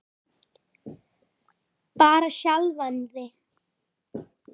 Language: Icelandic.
Bara sjálfan sig.